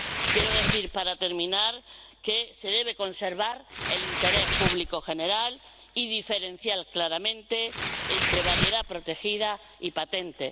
Quiero decir, para terminar, que se debe conservar el interés público general y diferenciar claramente entre variedad protegida y patente.